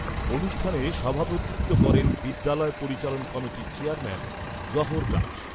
অনুষ্ঠানে সভাপতিত্ব করেন বিদ্যালয় পরিচালন কমিটির চেয়ারম্যান জোহর দাস।